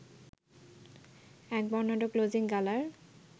এক বর্ণাঢ্য ক্লোজিং গালার